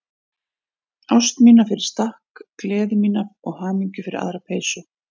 Ást mína fyrir stakk, gleði mína og hamingju fyrir aðra peysu.